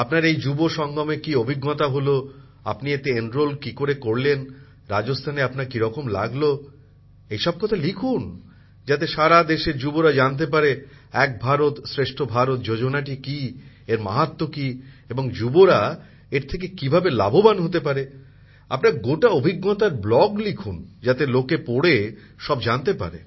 আপনার এই যুব সংগমে কি অভিজ্ঞতা হল আপনি এতে কিকরে নাম নথিভুক্ত করলেন রাজস্থানে আপনার কিরকম লাগলো এই সব কথা লিখুন যাতে সারা দেশের যুবরা জানতে পারে এক ভারত শ্রেষ্ঠ ভারত যোজনাটি কি এর মাহাত্ম্য কি এবং যুবসম্প্রদায় এর থেকে কিভাবে লাভবান হতে পারে আপনার গোটা অভিজ্ঞতার ব্লগ লিখুন যাতে লোকে পড়ে সব জানতে পারে